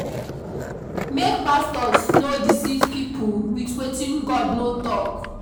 Make pastors no deceive pipo wit wetin God no tok.